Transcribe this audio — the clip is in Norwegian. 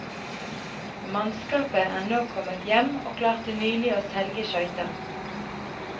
Mannskapet er nå kommet hjem, og klarte nylig å selge skøyta.